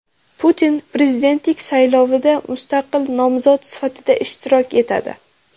Putin prezidentlik saylovida mustaqil nomzod sifatida ishtirok etadi.